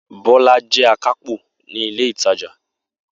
Bola jẹ akápò ni ile itaja.